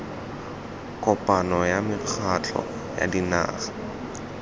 kopano ya mekgatlho ya dinaga